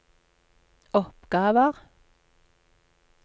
oppgaver